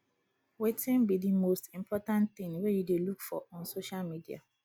wetin be di most important thing you dey dey look for on social media